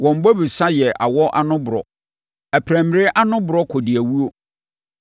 Wɔn bobesa yɛ awɔ ano borɔ; aprammire ano borɔ kɔdiawuo.